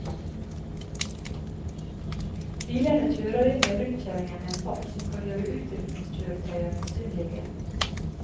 Bilene kjører inn i rundkjøringen med en fart som kan gjøre utrykningskjøretøyer misunnelige.